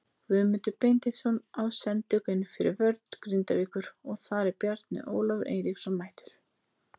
Guðmundur Benediktsson á sendingu inn fyrir vörn Grindavíkur og þar er Bjarni Ólafur Eiríksson mættur.